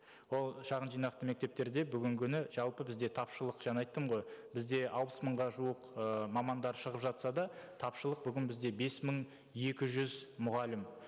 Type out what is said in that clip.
ол шағын жинақты мектептерде бүгінгі күні жалпы бізде тапшылық жаңа айттым ғой бізде алпыс мыңға жуық ыыы мамандар шығып жатса да тапшылық бүгін бізде бес мың екі жүз мұғалім